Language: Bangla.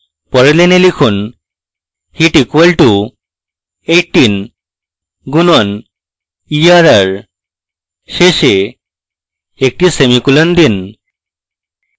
পরের line লিখুন: heat equal to 18 গুনণ err শেষে একটি semicolon দিন